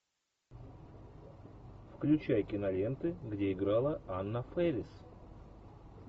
включай киноленты где играла анна фэрис